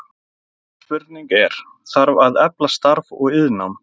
Fyrsta spurningin er, þarf að efla starfs- og iðnnám?